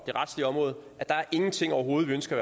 det retlige område er der ingenting overhovedet vi ønsker